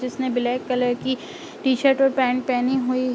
जिसने black colour की T shirt और पैंट पहनी हुई --